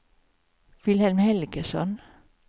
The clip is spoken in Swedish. Vilhelm Helgesson